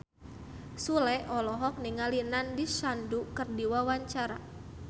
Sule olohok ningali Nandish Sandhu keur diwawancara